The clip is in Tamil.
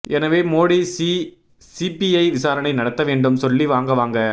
எனவே மோடி சீ சிபிஐ விசாரணை நடத்த வேண்டும் சொல்லி வாங்க வாங்க